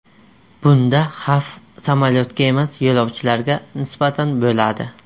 Bunda xavf samolyotga emas, yo‘lovchilarga nisbatan bo‘ladi.